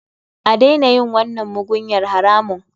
A daina yin wannan mugunyar haramun.